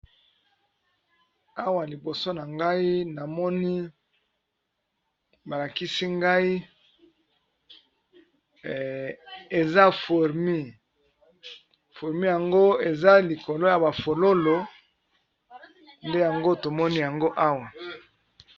Awa liboso na ngai namoni balakisi ngai eza furmi furmi yango eza likolo ya bafololo nde yango tomoni yango awa.